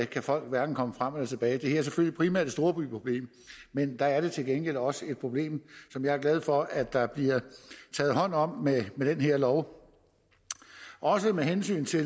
kan folk hverken komme frem eller tilbage det her er selvfølgelig primært et storbyproblem men der er det til gengæld også et problem som jeg er glad for at der bliver taget hånd om med den her lov også med hensyn til